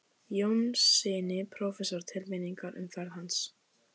Jónssyni prófessor til minningar um ferð hans.